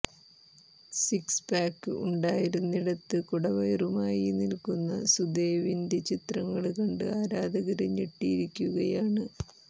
six pack ഉണ്ടായിരുന്നിടത്ത് കുടവയറുമായി നില്ക്കുന്ന സുദേവിന്റെ ചിത്രങ്ങള് കണ്ട് ആരാധകര് ഞെട്ടിയിരിക്കുകയാണ്